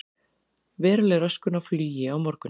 Veruleg röskun á flugi á morgun